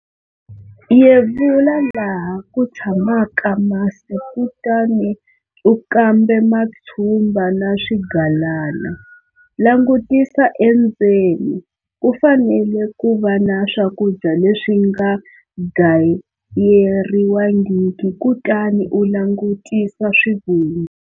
Yevula laha ku tshamaka masi kutani u kambe matshumba na swigalana. Langutisa endzeni, ku fanele ku va na swakudya leswi nga gayeriwangiki, kutani u langutisa swivungu.